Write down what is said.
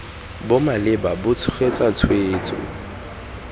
bo maleba bo tshegetsa tshwetso